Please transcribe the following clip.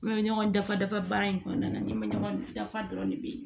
N bɛ ɲɔgɔn dafa dafa baara in kɔnɔna na n ɲɛ bɛ ɲɔgɔn dafa dɔrɔn de bi